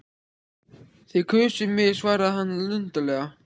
Þið kusuð mig svaraði hann luntalega.